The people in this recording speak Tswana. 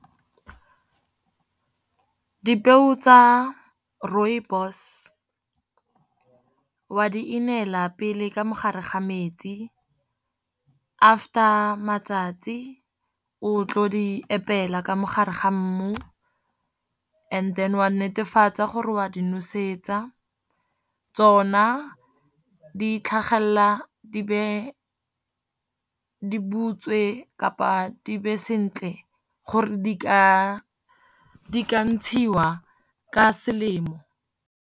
Dipeo tsa rooibos wa di inela pele ka mo gare ga metsi. After matsatsi o tlo di epela ka mo gare ga mmu, and then o a netefatsa gore o a di nosetsa. Tsona di tlhagelela di be di butswe kapa di be sentle gore di ka ntshiwa ka selemo.